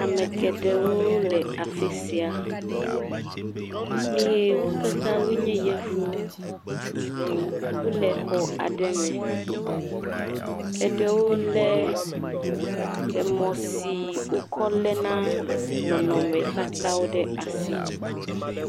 Ame geɖewo le afi sia, eye wo katã wonye yevuwo wole xɔ aɖe me, eɖewo lé emɔ si wokɔ léna nɔnɔmetatawo ɖe asi.